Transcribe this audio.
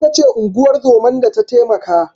Ita ce unguwar zoman da ta taimaka.